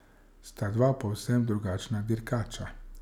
Sta dva povsem drugačna dirkača.